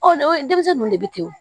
denmisɛnnin ninnu de bɛ kɛ wo